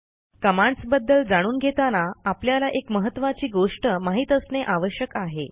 commands बद्दल जाणून घेताना आपल्याला एक महत्त्वाची गोष्ट माहित असणे आवश्यक आहे